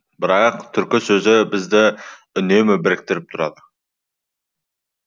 бірақ түркі сөзі бізді үнемі біріктіріп тұрады